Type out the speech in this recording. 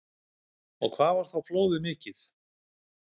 Og hvað var þá flóðið mikið?